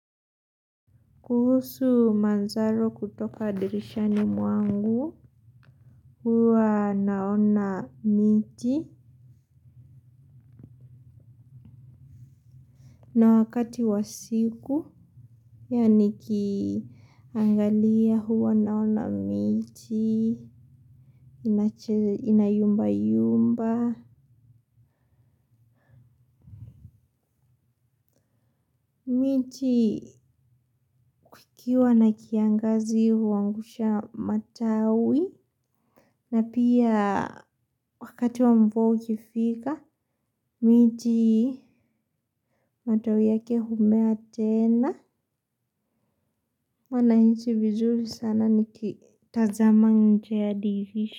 Kuhusu manzaro kutoka dirishani mwangu, huwa naona miti na wakati wa siku, yeah nikiangalia huwa naona miti, inayumba yumba. Miti kukiwa na kiangazi huangusha matawi na pia wakati wa mvua ukifika. Miti matawi yake humea tena. Huwa nahisi vizuri sana nikitazama nje ya dirisha.